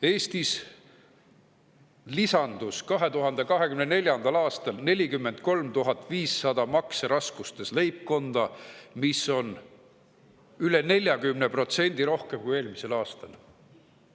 Eestis 2024. aastal 43 500 makseraskustes leibkonda, mis on üle 40% rohkem kui eelmisel aastal.